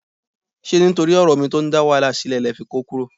Ṣé nítorí ọ̀rọ̀ omi tó ń dá wàhálà sílẹ̀ lẹ fi kó kúrò?